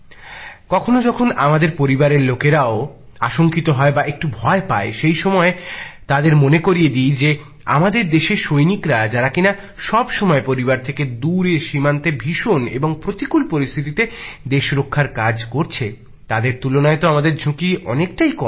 কখনো যখন আমাদের পরিবারের লোকেরাও আশংকিত হয় বা একটু ভয় পায় সেই সময়ে তাঁদের মনে করিয়ে দিই যে আমাদের দেশের সৈনিকরা যারা কিনা সবসময়েই পরিবার থেকে দূরে সীমান্তে ভীষণ এবং প্রতিকূল পরিস্থিতিতে দেশ রক্ষার কাজ করছে তাদের তুলনায় তো আমাদের ঝুঁকি অনেক টাই কম